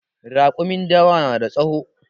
Raƙumin dawa na da tsawo